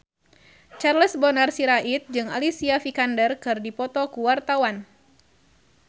Charles Bonar Sirait jeung Alicia Vikander keur dipoto ku wartawan